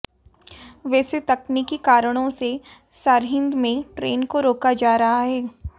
वैसे तकनीकी कारणों से सरहिंद में ट्रेन को रोका जा रहा है